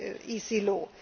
by